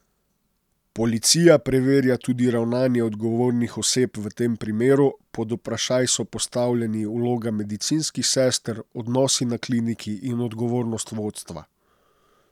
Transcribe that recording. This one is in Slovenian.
Policija preverja tudi ravnanje odgovornih oseb v tem primeru, pod vprašaj so postavljeni vloga medicinskih sester, odnosi na kliniki in odgovornost vodstva.